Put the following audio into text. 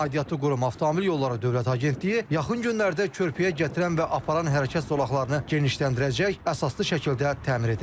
Aidiyyatlı qurum avtomobil yolları dövlət agentliyi yaxın günlərdə körpüyə gətirən və aparan hərəkət zolaqlarını genişləndirəcək, əsaslı şəkildə təmir edəcək.